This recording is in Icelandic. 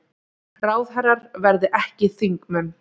Ráðherrar verði ekki þingmenn